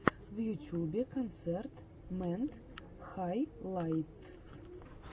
в ютюбе концерт мэд хайлайтс